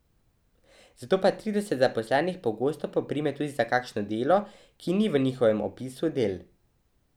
Zato pa trideset zaposlenih pogosto poprime tudi za kakšno delo, ki ni v njihovem opisu del.